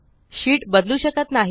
sheet बदलू शकत नाही